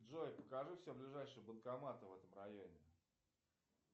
джой покажи все ближайшие банкоматы в этом районе